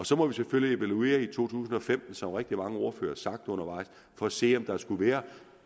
så må vi selvfølgelig evaluere i tusind og femten som rigtig mange ordførere har sagt undervejs for at se om der skulle være